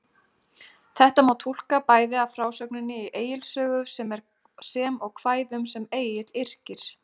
Þetta má túlka bæði af frásögninni í Egils sögu, sem og kvæðum sem Egill yrkir.